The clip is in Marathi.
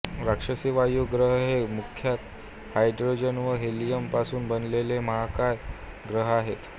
राक्षसी वायू ग्रह हे मुख्यतः हायड्रोजन व हेलियम पासून बनलेले महाकाय ग्रह असतात